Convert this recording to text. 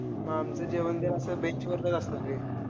आमचं जेवण भी असं bench वरन असतं रे.